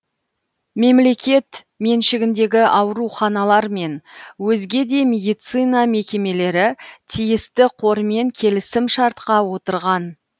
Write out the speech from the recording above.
мемлекет меншігіндегі ауруханалар мен өзге де медицина мекемелері тиісті қормен келісімшартқа отырған